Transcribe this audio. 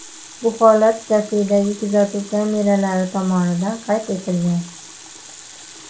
Bu holat kafedagi kuzatuv kameralari tomonidan qayd etilgan.